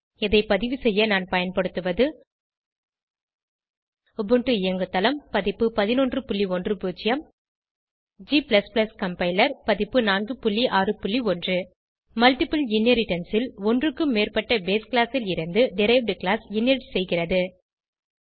இதை பதிவுசெய்ய நான் பயன்படுத்துவது உபுண்டு இயங்குதளம் பதிப்பு 1110 g கம்பைலர் பதிப்பு 461 மல்ட்டிபிள் இன்ஹெரிடன்ஸ் ல் ஒன்றுக்கும் மேற்பட்ட பேஸ் கிளாஸ் ல் இருந்து டெரைவ்ட் கிளாஸ் இன்ஹெரிட் செய்கிறது